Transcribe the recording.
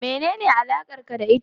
Menene alakar ku da ita?